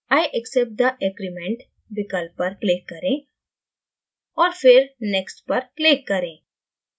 i accept the agreement विकल्प पर click करें और फिर next पर click करें